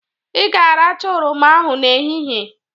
Ị ga-aracha oroma ahụ n'ehihie.